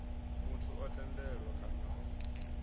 muthu o tendelwaho kana o